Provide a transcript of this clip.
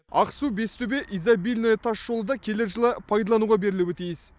ақсу бестөбе изобильное тасжолы да келер жылы пайдалануға берілуі тиіс